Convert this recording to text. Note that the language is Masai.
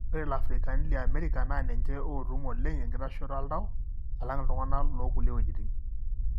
Ore iliafrikani liamerika na ninche otum oleng enkitashoto oltau alang iltunganak lokulie weujitin.